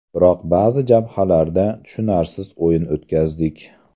Biroq ba’zi jabhalarda tushunarsiz o‘yin o‘tkazdik.